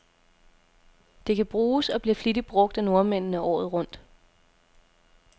Det kan bruges, og bliver flittigt brug af nordmændene, året rundt.